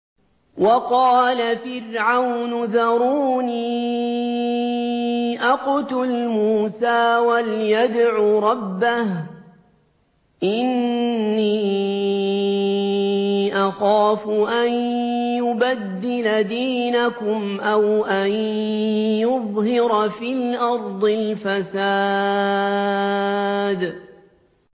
وَقَالَ فِرْعَوْنُ ذَرُونِي أَقْتُلْ مُوسَىٰ وَلْيَدْعُ رَبَّهُ ۖ إِنِّي أَخَافُ أَن يُبَدِّلَ دِينَكُمْ أَوْ أَن يُظْهِرَ فِي الْأَرْضِ الْفَسَادَ